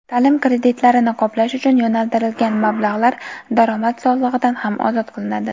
taʼlim kreditlarini qoplash uchun yo‘naltirilgan mablag‘lar daromad solig‘idan ham ozod qilinadi.